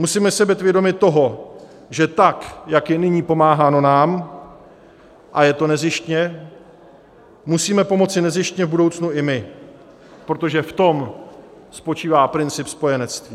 Musíme si být vědomi toho, že tak jak je nyní pomáháno nám, a je to nezištně, musíme pomoci nezištně v budoucnu i my, protože v tom spočívá princip spojenectví.